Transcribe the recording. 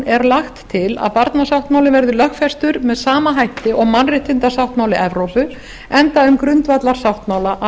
er lagt til að barnasáttmálinn verði lögfestur með sama hætti og mannréttindasáttmáli evrópu enda um grundvallarsáttmála að